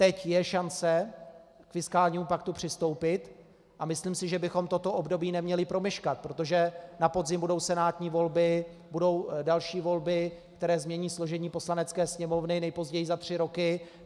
Teď je šance k fiskálnímu paktu přistoupit a myslím si, že bychom toto období neměli promeškat, protože na podzim budou senátní volby, budou další volby, které změní složení Poslanecké sněmovny nejpozději za tři roky.